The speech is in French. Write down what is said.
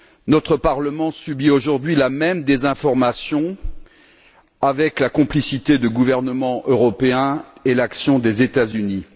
Notre Parlement subit aujourd'hui la même désinformation avec la complicité de gouvernements européens et l'action des États Unis